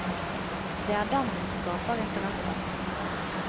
Det er den som skaper interesse.